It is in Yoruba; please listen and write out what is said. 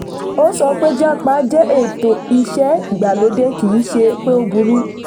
ó sọ pé 'jápa' jẹ́ ètò iṣẹ́ ìgbàlódé kì í ṣe pé ó burú.